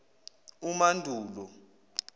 umandulo